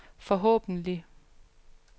forhåbentlig